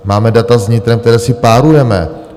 Máme data s vnitrem, které si párujeme.